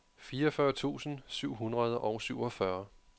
fireogfyrre tusind syv hundrede og syvogfyrre